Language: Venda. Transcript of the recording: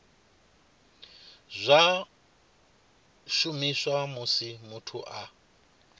zwa shumiswa musi muthu a